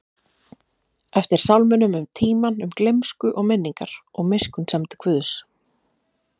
eftir sálminum um tímann, um gleymsku og minningar, og miskunnsemd Guðs.